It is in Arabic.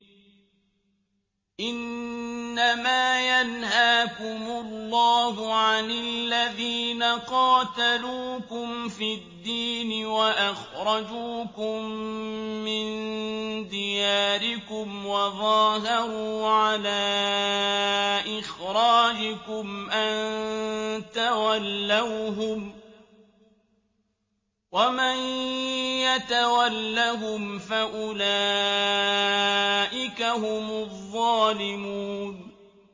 إِنَّمَا يَنْهَاكُمُ اللَّهُ عَنِ الَّذِينَ قَاتَلُوكُمْ فِي الدِّينِ وَأَخْرَجُوكُم مِّن دِيَارِكُمْ وَظَاهَرُوا عَلَىٰ إِخْرَاجِكُمْ أَن تَوَلَّوْهُمْ ۚ وَمَن يَتَوَلَّهُمْ فَأُولَٰئِكَ هُمُ الظَّالِمُونَ